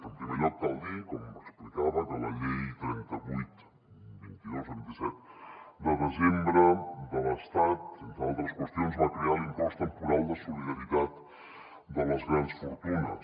en primer lloc cal dir com explicava que la llei trenta vuit dos mil vint dos de vint set de desembre de l’estat entre altres qüestions va crear l’impost temporal de solidaritat de les grans fortunes